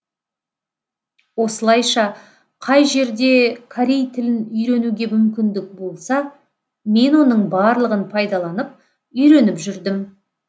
осылайша қай жерде корей тілін үйренуге мүмкіндік болса мен оның барлығын пайдаланып үйреніп жүрдім